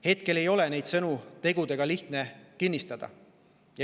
Hetkel ei ole neid sõnu tegudega lihtne kinnistada.